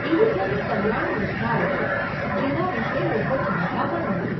એવી ઘણી કલ્યાણ યોજનાઓ છે, જેના વિષે લોકો જાણતા પણ નથી.